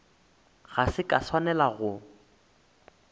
ga se ka swanela go